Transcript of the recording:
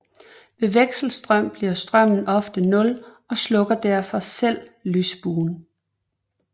Ved vekselstrøm bliver strømmen ofte nul og slukker derfor selv lysbuen